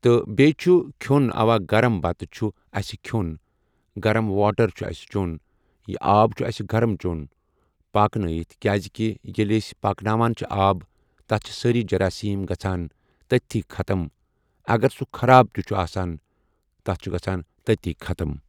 تہٕ بیٚیہِ چھُ کھیوٚن اوا گَرٕم بَتہٕ چھُ اسہِ کھیون گَرٕم واٹَر چھُ اسہِ چیٚون یہِ آب چھُ اسہِ گَرٕم چیون پاکہٕ نٲیِتھ کیازکہِ ییٚلہِ أسۍ پاکہٕ ناوان چھِ آب تَتھ چھِ سٲری جَراسیٖم گَژَھان تٔتتھی خَتٕم اگر سُہ خَراب تہِ چھُ آسان تَتھ چھُ گَژَھان تٔتتھی خَتٕم۔